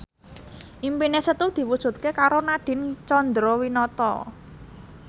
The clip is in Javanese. impine Setu diwujudke karo Nadine Chandrawinata